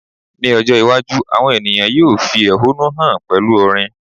ní ọjọ iwaju, awọn ènìyàn yíò fi ehọ́nú hàn pẹlú orin